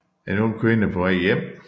En ung kvinde på vej hjem